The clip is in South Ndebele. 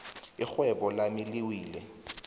irhwebo lami liwile